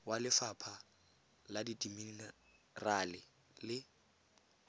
wa lefapha la dimenerale le